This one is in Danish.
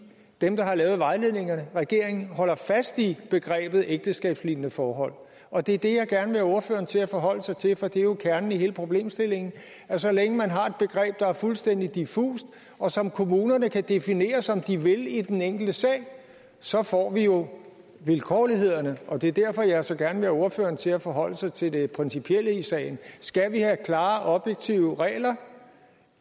dem der har lavet vejledningerne regeringen holder fast i begrebet ægteskabslignende forhold og det er det jeg gerne vil have ordføreren til at forholde sig til for det er jo kernen i hele problemstillingen så længe man har et begreb der er fuldstændig diffust og som kommunerne kan definere som de vil i den enkelte sag så får vi jo vilkårlighederne og det er derfor jeg så gerne vil have ordføreren til at forholde sig til det principielle i sagen som skal vi have klare og objektive regler